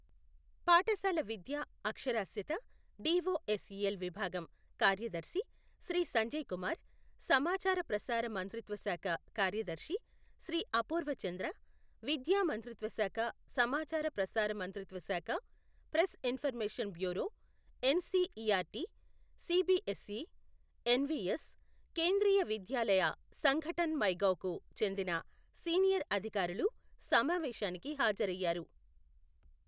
పాఠశాల విద్య అక్షరాస్యత, డిఒఎస్ఇఎల్ విభాగం కార్యదర్శి శ్రీ సంజయ్ కుమార్, సమాచార ప్రసార మంత్రిత్వ శాఖ కార్యదర్శి శ్రీ అపూర్వ చంద్ర, విద్యా మంత్రిత్వ శాఖ, సమాచార ప్రసార మంత్రిత్వ శాఖ, press information bureau, NCERT, CBSE, NVS, Kendriya Vidyalaya Sangathan my gov కు చెందిన సీనియర్ అధికారులు సమావేశానికి హాజరయ్యారు.